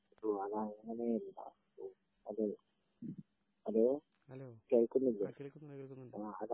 hello അതങ്ങനയല്ല hello hello കേൾക്കുന്നില്ലേ